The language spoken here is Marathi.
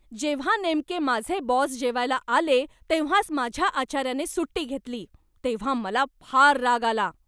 जेव्हा नेमके माझे बॉस जेवायला आले तेव्हाच माझ्या आचाऱ्याने सुट्टी घेतली तेव्हा मला फार राग आला.